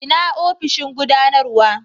ina ofishin gudanarwa?